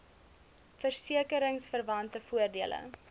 verseke ringsverwante voordele